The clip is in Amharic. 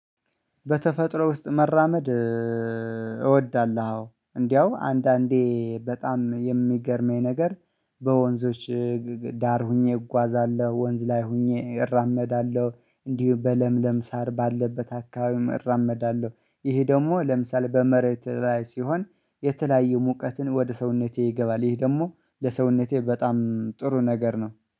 በተፈጥሮ ውስጥ መራመድ እወዳለሁ እንደው አንዳንዴ በጣም የሚገርመኝ ነገር በወንዞች ዳር ሆኜ እጓዛለሁ ወንዝ ላይ ሆኜ እራመዳለሁ እንዲሁ በለምለም ሳር ባለበት አካባቢ እራመዳለሁ። ይሄ ደግሞ ለምሳሌ በመሬት ላይ ሲሆን የተለያዩ ሙቀትን ወደ ሰውነቴ ይገባል ይህ ደግሞ ለሰውነቴ በጣም ጥሩ ነገር ነው